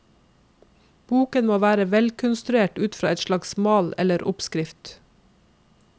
Boken må være velkonstruert ut fra en slags mal eller oppskrift.